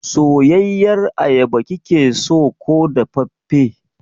Soyayyar ayaba kikeso ko dafaffe?